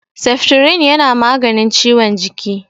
Seftirin yana maganin ciwon jiki.